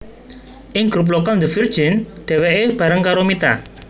Ing grup vokal The Virgin dheweke bareng karo Mita